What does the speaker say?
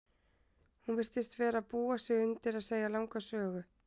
Hún virtist vera að búa sig undir að segja langa sögu.